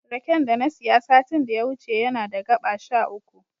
Raken da na siya satin da ya wuce yana da gaɓa sha uku.